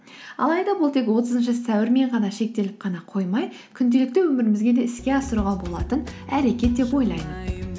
алайда бұл тек отызыншы сәуірмен ғана шектеліп қана қоймай күнделікті өмірімізге де іске асыруға болатын әрекет деп ойлаймын